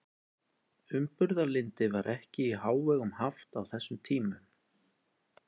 Umburðarlyndi var ekki í hávegum haft á þessum tímum.